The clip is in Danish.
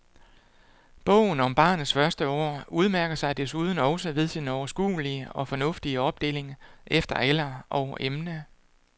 Bogen om barnets første år udmærker sig desuden også ved sin overskuelige og fornuftige opdeling efter alder og emne.